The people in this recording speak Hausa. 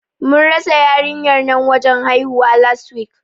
Mun rasa yarinyar nan wajen haihuwa, last week.